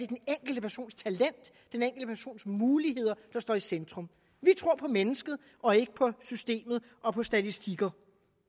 den enkelte persons muligheder der står i centrum vi tror på mennesket og ikke på systemet og på statistikker